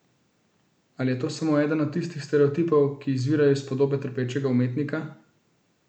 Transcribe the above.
Ali pa je to samo eden od tistih stereotipov, ki izvirajo iz podobe trpečega umetnika?